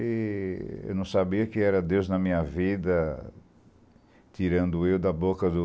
E eu não sabia que era Deus na minha vida tirando eu da boca do...